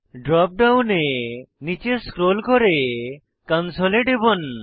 drop ডাউনে নীচে scroll করে কনসোল এ টিপুন